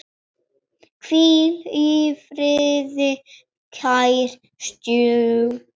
Hvíl í friði, kæri stjúpi.